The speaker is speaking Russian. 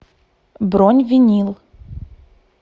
бронь винил